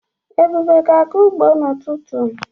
Ebube ga-aga ugbo n'ututu.